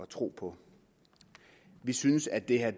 tro på vi synes at det her